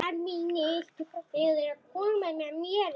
Þannig var bara Soffía okkar.